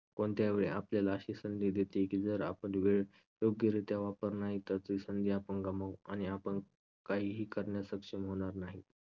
कोणत्यावेळी आपल्याला अशी संधी देते की जर आपण वेळ योग्यरित्या वापर नाही तर ती संधी आपण गमावू आणि आपण काहीही करण्यात सक्षम होणार नाही.